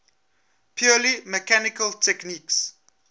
purely mechanical techniques